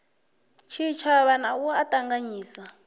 tshitshavha na u a ṱanganyisa